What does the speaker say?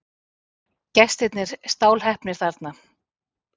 Gestirnir stálheppnir þarna.